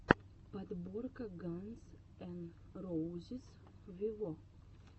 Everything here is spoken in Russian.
подборка ганз эн роузиз виво